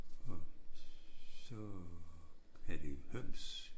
Og så havde de høns